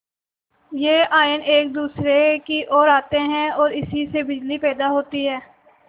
यह आयन एक दूसरे की ओर आते हैं ओर इसी से बिजली पैदा होती है